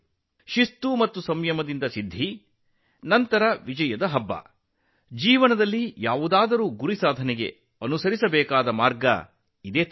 ಶಿಸ್ತು ಮತ್ತು ಸಂಯಮದ ಮೂಲಕ ಸಿದ್ಧಿಯನ್ನು ಸಾಧಿಸಿ ನಂತರ ವಿಜಯೋತ್ಸವದ ಹಬ್ಬ ಅದು ಜೀವನದಲ್ಲಿ ಯಾವುದೇ ಗುರಿಯನ್ನು ಸಾಧಿಸುವ ಮಾರ್ಗವಾಗಿದೆ